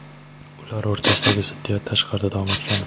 ular o‘rtasidagi ziddiyat tashqarida davom etgan.